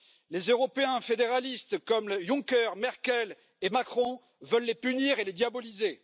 Les Européens fédéralistes comme Juncker, Merkel et Macron veulent les punir et les diaboliser.